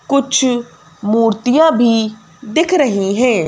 कुछ मूर्तियां भी दिख रही हैं।